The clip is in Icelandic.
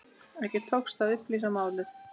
Ekki tókst að upplýsa málið.